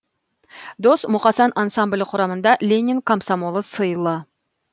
дос мұқасан ансамблі құрамында ленин комсомолы сыйлы